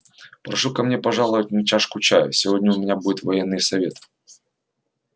прошу ко мне пожаловать на чашку чаю сегодня у меня будет военный совет